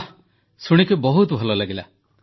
ବାଃ ଶୁଣି ବହୁତ ଭଲ ଲାଗିଲା